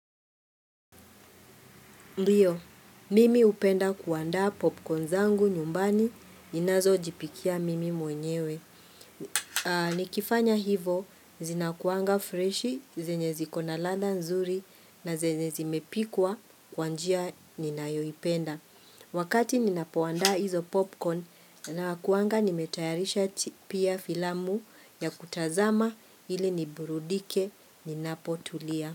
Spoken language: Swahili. Ndiyo, mimi hupenda kuandaa popcorn zangu nyumbani ninazo jipikia mimi mwenyewe. Nikifanya hivo, zinakuanga freshi, zenye ziko na ladha nzuri na zenye zimepikwa kwa njia ninayoipenda. Wakati ninapoanda hizo popcorn nakuanga nimetayarisha pia filamu ya kutazama hili niburudike ninapo tulia.